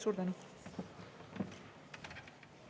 Suur tänu!